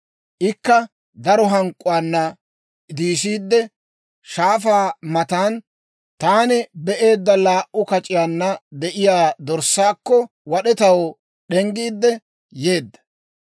Ikka daro hank'k'uwaana diisiide, shaafaa matan taani be'eedda laa"u kac'iyaanna de'iyaa dorssaakko, wad'etaw d'enggiidde yeedda.